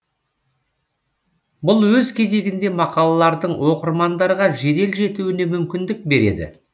бұл өз кезегінде мақалалардың оқырмандарға жедел жетуіне мүмкіндік береді